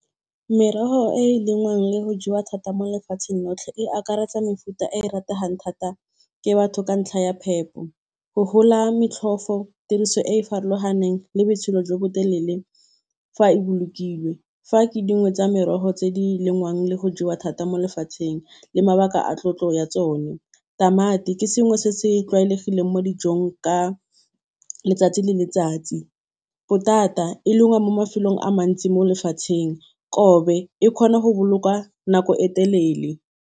Merogo e e lengwang le go jewa thata mo lefatsheng lotlhe e akaretsa mefuta e e rategang thata ke batho ka ntlha ya phepo, go gola motlhofo, tiriso e e farologaneng le botshelo jo botelele fa e bolokilwe. Fa ke dingwe tsa merogo tse di lengwang le go jewa thata mo lefatsheng le mabaka a tlotlo ya tsone. Tamati ke sengwe se se tlwaelegileng mo dijong ka letsatsi le letsatsi. Potata e lengwa mo mafelong a mantsi mo lefatsheng. Kobe e kgona go bolokwa nako e telele.